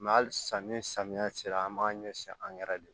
halisa ni samiya sera an b'a ɲɛsin an yɛrɛ de ma